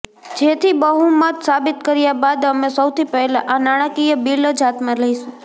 જેથી બહુમત સાબિત કર્યા બાદ અમે સૌથી પહેલા આ નાણાકીય બિલ જ હાથમાં લઇશુ